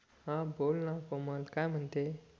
हा बोलना कोमल काय म्हणते